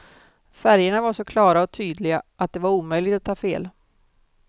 Färgerna var så klara och tydliga, att det var omöjligt att ta fel.